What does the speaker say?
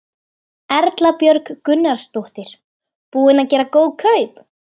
Erla Björg Gunnarsdóttir: Búinn að gera góð kaup?